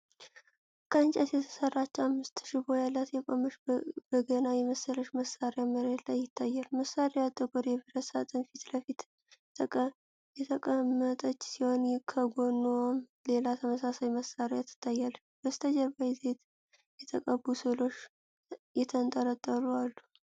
ከእንጨት የተሰራች፣ አምስት ሽቦ ያላት፣ የቆመች በገና የመሰለች መሳሪያ መሬት ላይ ይታያል። መሳሪያዋ ጥቁር የብረት ሳጥን ፊት ለፊት የተቀመጠች ሲሆን፣ ከጎኗም ሌላ ተመሳሳይ መሳሪያ ትታያለች። በስተጀርባ በዘይት የተቀቡ ሥዕሎች የተንጠለጠሉ አሉ።